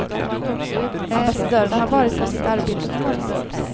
Ambassadören hade varit på sitt arbete på morgonen.